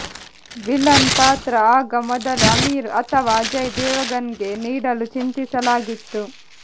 villain ಪಾತ್ರ ಆಗ ಮೊದಲು ಅಮೀರ್ ಅಥವಾ ಅಜಯ್ ದೇವಗನ್ ಗೆ ನೀಡಲು ಚಿಂತಿಸಲಾಗಿತ್ತು